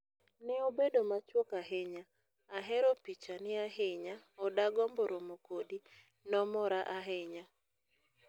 neobedo machuok ahinya: ahero pichani ahinya o dagombo romo kodi, nomora ahinya.